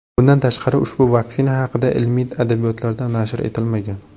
Bundan tashqari, ushbu vaksina haqida ilmiy adabiyotlarda nashr etilmagan.